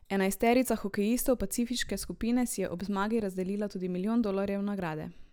Enajsterica hokejistov pacifiške skupine si je ob zmagi razdelila tudi milijon dolarjev nagrade.